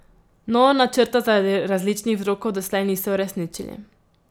No, načrta zaradi različnih vzrokov doslej niso uresničili.